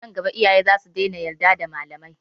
Nan gaba iyaye zasu iya daina yarda da malamai.